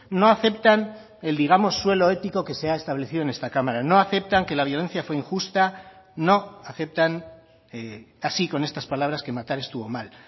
no aceptan el digamos suelo ético que se ha establecido en esta cámara no aceptan que la violencia fue injusta no aceptan así con estas palabras que matar estuvo mal